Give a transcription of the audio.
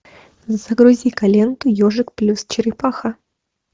загрузи ка ленту ежик плюс черепаха